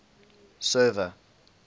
server